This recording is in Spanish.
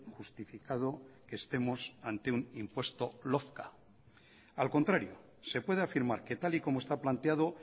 justificado que estemos ante un impuesto lofca al contrario se puede afirmar que tal y como está planteado